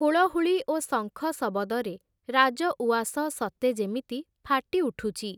ହୁଳହୁଳି ଓ ଶଙ୍ଖ ଶବଦରେ, ରାଜଉଆସ ସତେ ଯେମିତି, ଫାଟି ଉଠୁଛି ।